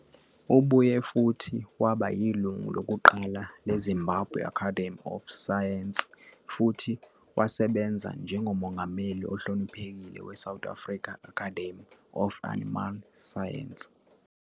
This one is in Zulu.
Ubuye futhi waba yilungu lokuqala leZimbabwe Academy of Science futhi wasebenza njengoMongameli ohloniphekile weSouth African Academy of Animal Science.